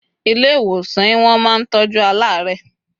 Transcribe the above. ile iwosàn in won ma ntoju alaare